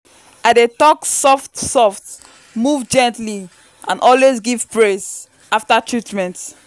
i dey talk soft-soft move gently and always give praise after treatment.